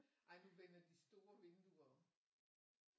Ej nu vender de store vinduer